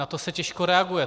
Na to se těžko reaguje.